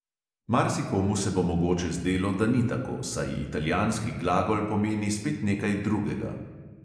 Marsikomu se bo mogoče zdelo, da ni tako, saj italijanski glagol pomeni spet nekaj drugega.